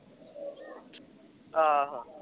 ਆਹੋ